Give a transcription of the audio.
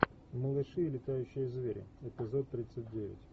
малыши и летающие звери эпизод тридцать девять